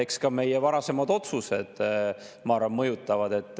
Eks ka meie varasemad otsused, ma arvan, mõjutavad.